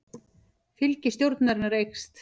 Fylgi stjórnarinnar eykst